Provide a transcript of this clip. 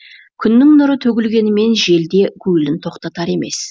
күннің нұры төгілгенімен желде гуілін тоқтатар емес